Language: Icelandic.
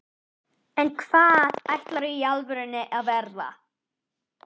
en hvað ætlarðu í alvörunni að verða?